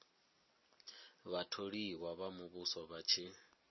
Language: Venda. vhatholiwa vha muvhuso vha tshi